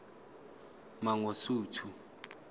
mangosuthu